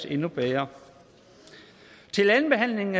endnu bedre til andenbehandlingen